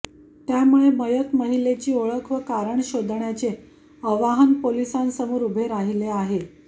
त्यामुळे मयत महिलेची ओळख व कारण शोधण्याचे अवाहन पोलिसांसमोर उभे राहिले आहे